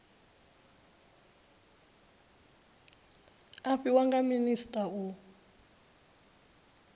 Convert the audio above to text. a fhiwa nga minisita u